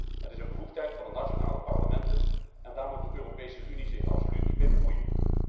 Het is een bevoegdheid van de nationale parlementen en daar moet de Europese Unie zich absoluut niet mee bemoeien.